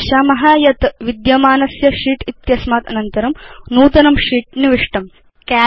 वयं पश्याम यत् विद्यमानस्य शीत् इत्यस्मात् अनन्तरं नूतनं शीत् निविष्टम्